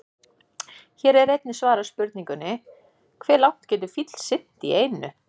Hér er einnig svarað spurningunni: Hve langt getur fíll synt í einu?